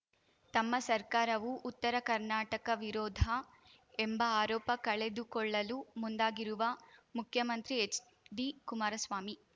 ತಮ್ಮ ಸರ್ಕಾರವು ಉತ್ತರ ಕರ್ನಾಟಕ ವಿರೋಧ ಎಂಬ ಆರೋಪ ಕಳೆದುಕೊಳ್ಳಲು ಮುಂದಾಗಿರುವ ಮುಖ್ಯಮಂತ್ರಿ ಎಚ್‌ಡಿ ಕುಮಾರಸ್ವಾಮಿ